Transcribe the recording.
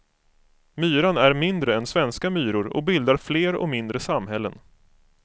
Myran är mindre än svenska myror och bildar fler och mindre samhällen.